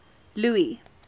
louis